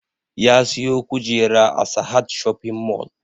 Ya siyo kujera a sahad shopping mall